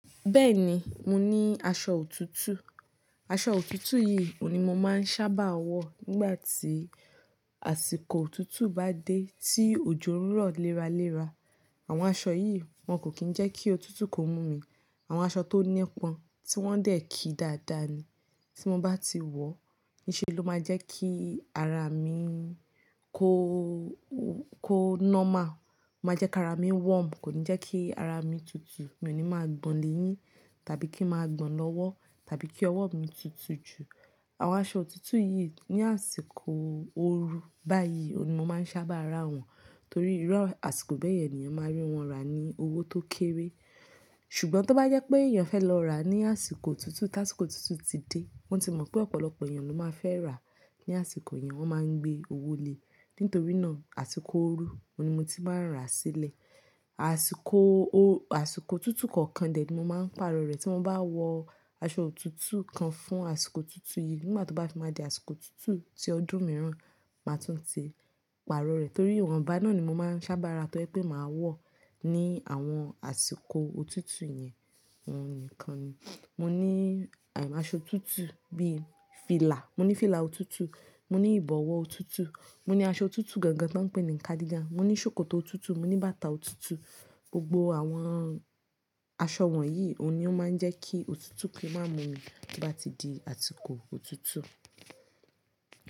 Bẹ́ẹ̀ ni, mo ní aṣọ òtútù. Aṣọ òtútù yìí ò ní mo máa ń sábà wọ̀ nígbà tí àsìkò òtútù bá dé tí òjò ń rọ̀ léra léra. Àwọn aṣọ yìí wọn kò kín ń jẹ́ kí òtútù kó mú mi. Àwọn aṣọ tó nípọn tí wọ́n dẹ̀ kí dáadáa ni tí mo bá ti wọ̀, ní ṣe ló máa jẹ́ kí ara mi kó, kó normal. Máa jẹ́ kí ara mi warm, kò ní jẹ́ kí ara mi tutù, mi ò ní máa gbọ̀n léyín tàbí kí ń máa gbọ̀n lọ́wọ́ tàbí kí ọwọ́ mi tutù jù. Àwọn aṣọ òtútù yìí ní àsìkò ooru báyìí òní mo máa ń sábà ra wọn torí ìrọ́ àsìkò bẹ́ẹ̀ ni èèyàn máa rí wọn rà ní owó tó kéré. Ṣùgbọ́n tó bá yẹ pé èèyàn fẹ́ lọ ra ní àsìkò òtútù tí àsìkò òtútù ti dé, wọ́n ti mọ̀ pé ọ̀pọ̀lọpọ̀ èèyàn ló máa fẹ́ rà ní àsìkò yẹn, wọ́n máa ń gbé owó le. Nítorí náà àsìkò ooru, òní mo ti máa ń rà sílẹ̀. Àsìkò o- àsìkò òtútù kọ̀ọ̀kan dẹ̀ ni mo máa ń pàrọ̀ rẹ̀ tí mo bá wọ aṣọ òtútù kan fún àsìkò òtútù yìí. Nígbà tó bá ti di àsìkò òtútù tí ọdún mìíràn, màá tún ti pàrọ̀ rẹ̀ torí ìwọ̀nba náà ni mo máa ń sábà ra tó ẹ pé màá wọ̀ ní àwọn àsìkò òtútù yẹn. Ọhun nìkan ni. Mo ní a- aṣọ òtútù bí i fìlà, mo ní fìlà òtútù, mo ní ìbọ̀wọ́ òtútù, mo ní aṣọ òtútù gangan tó ń pè ní nì kádiga, mo ní ṣòkòtò òtútù, mo ní bàtà òtútù. Gbogbo àwọn aṣọ wọ̀nyí òní ó máa ń jẹ́ kí òtútù kì í máa mú mi bí bá ti di àsìkò òtútù.